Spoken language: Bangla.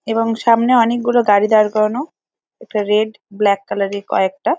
এবং সামনে অনেকগুলো গাড়ি দাড় করানো। একটা রেড ব্ল্যাক কালার -এর কয়েকটা ।